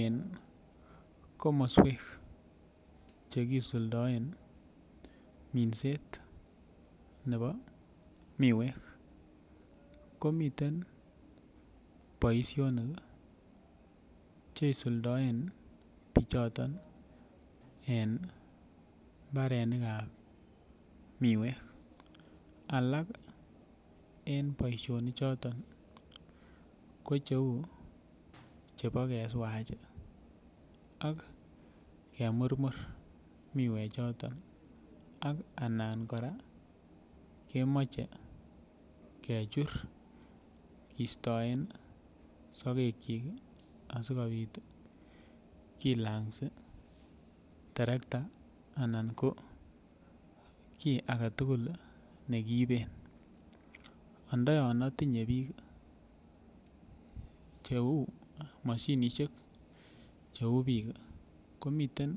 En komoswek Che kisuldaen minset nebo miwek ko miten boisionik Che isuldoen bichoton en mbarenik ab miwek alak en boisionik choton ko Cheu chebo keswach ak kemurmur miwechoto ak anan kora kemoche kechur kisto en sogekyik asikobit kilangsi terekta anan ko ki age tugul ne kiiben anda yon atinye mashinisiek Cheu bik komiten